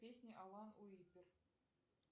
песня алан уипер